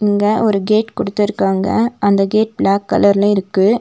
இங்க ஒரு கேட் குடுத்திருக்காங்க அந்தக் கேட் பிளாக் கலர்ல இருக்கு.